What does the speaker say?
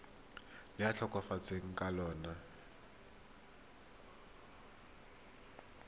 le a tlhokafetseng ka lona